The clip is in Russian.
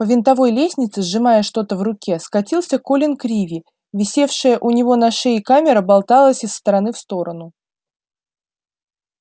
по винтовой лестнице сжимая что-то в руке скатился колин криви висевшая у него на шее камера болталась из стороны в сторону